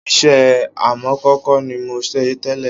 Iṣẹ́ amọ̀kòkò ni mò ń ṣe tẹ́lẹ̀